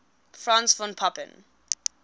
franz von papen